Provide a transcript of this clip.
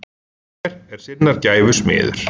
Hver er sinnar gæfu smiður?